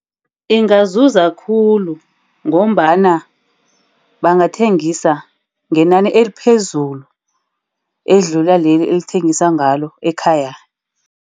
Ingazuza khulu, ngombana bangathengisa ngenani eliphezulu. Edlula leli elithengisa ngalo ekhaya.